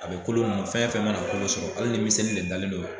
A be kolo nunnu fɛn fɛn mana kolo sɔrɔ ali ni miseli le dalen don yen